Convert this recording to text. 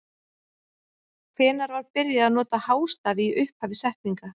Hvenær var byrjað að nota hástafi í upphafi setninga?